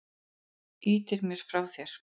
Ýtir mér frá þér.